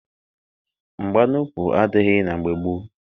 Mgba n'ukwu adịghị na mgbe gboo.